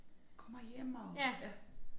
Kommer hjem og ja